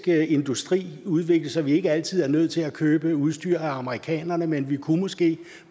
industri udviklet så vi ikke altid er nødt til at købe udstyret af amerikanerne men vi kunne måske